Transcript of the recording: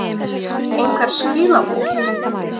einhver skilaboð?